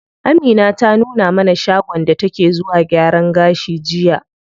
Amina ta nuna mana shagon da take zuwa gyaran gashi jiya.